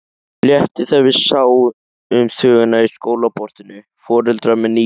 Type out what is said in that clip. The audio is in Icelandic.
Léttir þegar við sjáum þvöguna í skólaportinu, foreldrar með nýgræðinga.